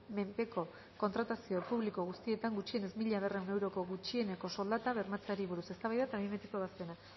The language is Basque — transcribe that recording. menpeko kontratazio publiko guztietan gutxienez mila berrehun euroko gutxieneko soldata bermatzeari buruz eztabaida eta behin betiko ebazpena